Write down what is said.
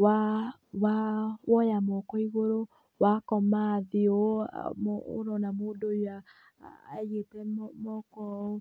\ woya moko igũrũ, wakoma thĩ ũũ ũrona mũndũ ũyũ aigĩte moko ũũ